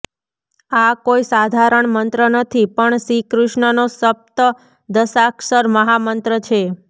આ કોઈ સાધારણ મંત્ર નથી પણ શ્રીકૃષ્ણનો સપ્તદશાક્ષર મહામંત્ર છે